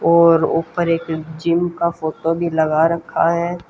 और ऊपर एक जिम का फोटो भी लगा रखा है।